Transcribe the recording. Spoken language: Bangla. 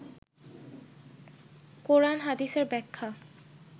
কোরান হাদিসের ব্যাখ্যা